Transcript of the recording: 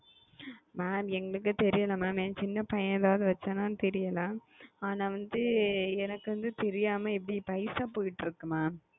mam எனக்கு தெரியாது mam எனக்கு வந்து தெரியாது ஏ சின்ன பையன் வச்சான தெரியல அனா எனக்கு வந்து பைசா போயிட்டு இருக்கு